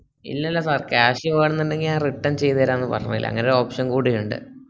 ഇല്ലല്ല sir cash വേണനിണ്ടങ്കി ഞാൻ return ചെയ്‌തരാന്ന് പര്ഞ്ഞില്ലേ അങനെ ഒരു option കൂടി ഇണ്ട്